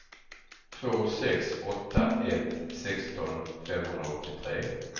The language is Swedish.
två sex åtta ett sexton femhundraåttiotre